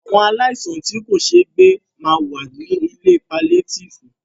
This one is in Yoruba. Àwọn aláìsàn tí kò ṣéé gbè ma wà ní ilé paliétífù.